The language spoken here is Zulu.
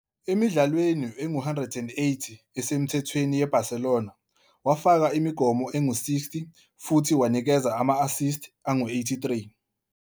Emidlalweni engu-180 esemthethweni yeBarcelona, wafaka imigomo engu-60 futhi wanikeza ama-assist angu-83.